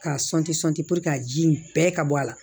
K'a k'a ji in bɛɛ ka bɔ a la